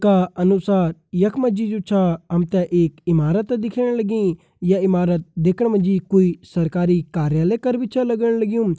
का अनुसार यखमा जी जो छा हमते एक ईमारत दिख्येण लगीं या ईमारत दिखण मजी कोई सरकारी कार्यलय कर भी छा लगण लगयूं।